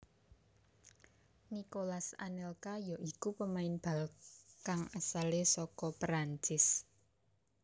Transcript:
Nicolas Anelka ya iku pemain bal kang asale saka Perancis